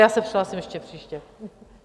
Já se přihlásím ještě příště.